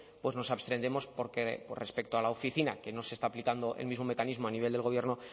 pues nos abstendremos porque pues respecto a la oficina que no se está aplicando el mismo mecanismo a nivel del gobierno